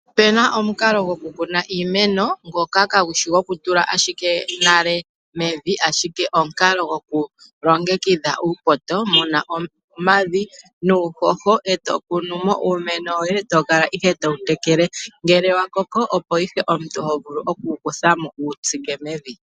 Opu na omukalo gokukuna iimeno, ngoka kaagu shi gokutula ashike nale mevi, ashike omukalo gokulongekidha uupoto, mu na omavi nuuhoho e to kunu mo uumeno woye to kala ihe to wu tekele. Ngele wa koko, opo ihe omuntu ho vulu oku wu kutha mo wu wu tsike mevi.